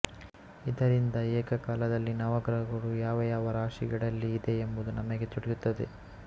ಇದರಿಂದ ಏಕಕಾಲದಲ್ಲಿ ನವಗ್ರಹಗಳು ಯಾವಯಾವ ರಾಶಿಗಳಲ್ಲಿ ಇದೆ ಎಂಬುದು ನಮಗೆ ತಿಳಿಯುತ್ತದೆ